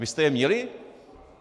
Vy jste je měli?